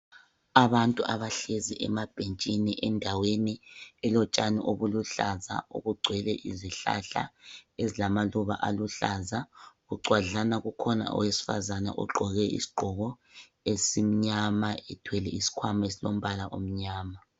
Abantu abahlezi emabhentshini endaweni elotshani obuluhlaza obugcwele izihlahla ezilamaluba aluhlaza. Bucwadlana kukhona owesifazana ogqoke isigqoko esimnyama ethwele isikhwama esilombala omnyama.